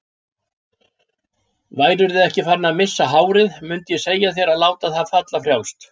Værirðu ekki farinn að missa hárið mundið ég segja þér að láta það falla frjálst.